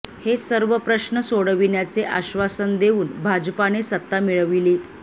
हे सर्व प्रश्न सोडविण्याचे आश्वासन देऊन भाजपाने सत्ता मिळविली